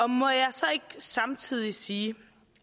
må jeg så ikke samtidig sige